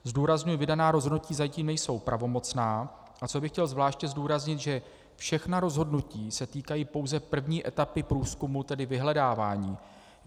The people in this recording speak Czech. Zdůrazňuji, vydaná rozhodnutí zatím nejsou pravomocná, a co bych chtěl zvláště zdůraznit, že všechna rozhodnutí se týkají pouze první etapy průzkumu, tedy vyhledávání.